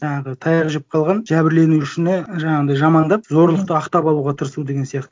жаңағы таяқ жеп қалған жәбірленушіні жаңағындай жамандап зорлықты ақтап алуға тырысу деген сияқты